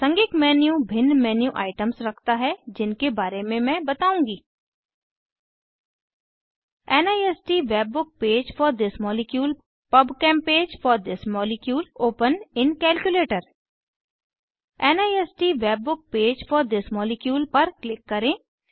प्रासंगिक मेन्यू भिन्न menu items रखता है जिनके बारे में मैं बताऊँगी NIST webbook page for this molecule PubChem page for this molecule open in calculator NIST webbook page for this molecule पर क्लिक करें